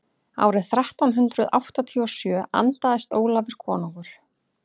árið þrettán hundrað áttatíu og sjö andaðist ólafur konungur